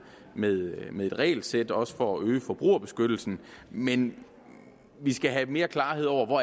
med med et regelsæt også for at øge forbrugerbeskyttelsen men vi skal have mere klarhed over hvor